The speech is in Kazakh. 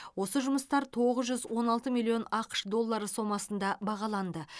осы жұмыстар тоғыз жүз он алты миллион ақш доллары сомасында бағаланды